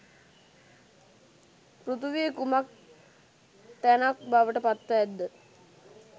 පෘථිවිය කුමක් තැනක් බවට පත්ව ඇත්ද?